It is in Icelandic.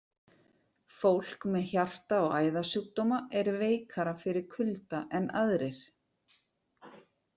Fólk með hjarta- og æðasjúkdóma er veikara fyrir kulda en aðrir.